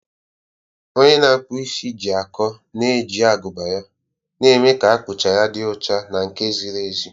Onye na-akpụ isi ji akọ na-eji agụba ya, na-eme ka akpụcha ya dị ọcha na nke ziri ezi.